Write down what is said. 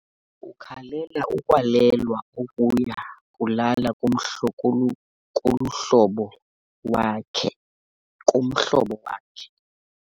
Umntwana ukhalela ukwalelwa ukuya kulala kulomhlobo wakhe.